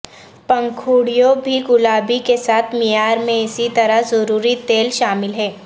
پنکھڑیوں بھی گلابی کے ساتھ معیار میں اسی طرح ضروری تیل شامل ہیں